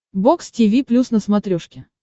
бокс тиви плюс на смотрешке